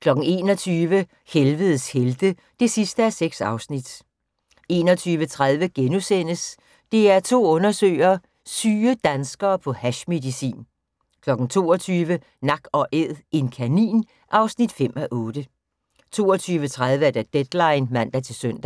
21:00: Helvedes helte (6:6) 21:30: DR2 undersøger: Syge danskere på hashmedicin * 22:00: Nak & æd - en kanin (5:8) 22:30: Deadline (man-søn)